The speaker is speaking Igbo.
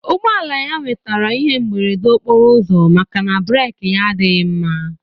Ụgbọala ya nwetara ihe mberede okporo ụzọ maka na breeki ya adighị mma.